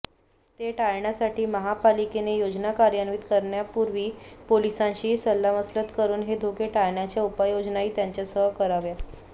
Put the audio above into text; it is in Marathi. ते टाळण्यासाठी महापालिकेने योजना कार्यान्वित करण्यापूर्वी पोलिसांशीही सल्लामसलत करून हे धोके टाळण्याच्या उपाययोजनाही त्याच्यासह कराव्या